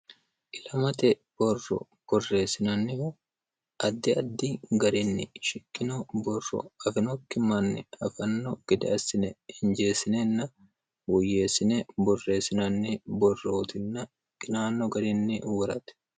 ilamate borro borreessinannihu addi addi garinni shikkino borro afinokki manni afanno gideassine injeessinenna woyyeessine borreessinanni borrootinna qinaanno garinni uurati